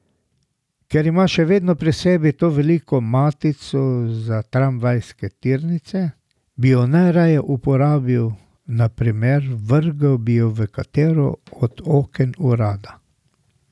Ker ima še vedno pri sebi to veliko matico za tramvajske tirnice, bi jo najraje uporabil, na primer, vrgel bi jo v katero od oken urada.